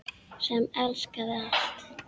Sem elskaði allt.